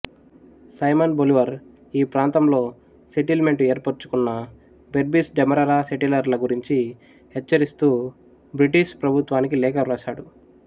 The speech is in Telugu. సైమన్ బొలివర్ ఈప్రాంతంలో సెటిల్మెంటు ఏర్పరుచుకున్న బెర్బిస్ డెమెరర సెటిలర్ల గురించి హెచ్చరిస్తూ బ్రిటిష్ ప్రభుత్వానికి లేఖవ్రాసాడు